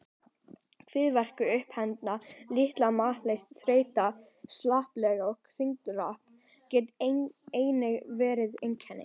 Kviðverkir, uppþemba, lítil matarlyst, þreyta, slappleiki og þyngdartap geta einnig verið einkenni.